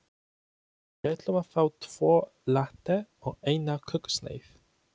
Við ætlum að fá tvo latte og eina kökusneið.